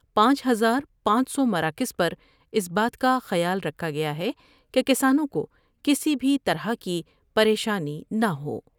پانچ ہزار پانچ سو مراکز پر اس بات کا خیال رکھا گیا ہے کہ کسانوں کو کسی بھی طرح کی پریشانی نہ ہو ۔